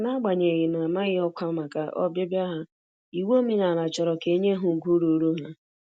N'agbanyeghị na -amaghị ọkwa màkà ọbịbịa ha, iwu omenala chọrọ ka enye ha ùgwù ruuru ha.